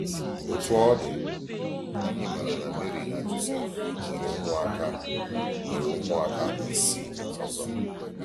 Otú ọ dị, anyị maara na Meri na Jọsef nwere ụmụaka nwere ụmụaka isii ọzọ.